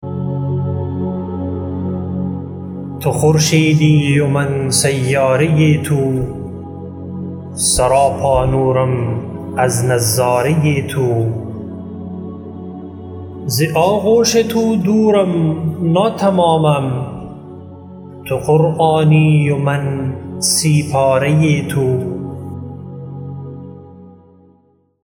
تو خورشیدی و من سیاره تو سراپا نورم از نظاره تو ز آغوش تو دورم ناتمامم تو قرآنی و من سی پاره تو